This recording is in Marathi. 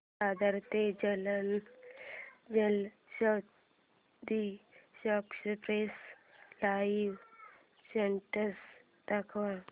दादर ते Jalna Janshatabdi express live status दाखव